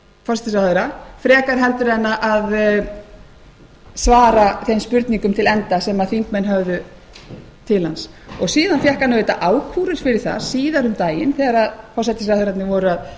klukkutíma frekar heldur en að svara þeim spurningum til enda sem þingmenn höfðu til hans síðan fékk hann auðvitað ákúrur fyrir það síðar um daginn þegar forsætisráðherrarnir voru